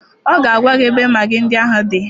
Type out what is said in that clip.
Ọ ga-agwa gị ebe magị ndị ahụ dị